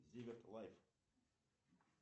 зиверт лайф